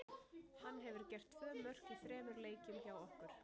Hann hefur gert tvö mörk í þremur leikjum hjá okkur.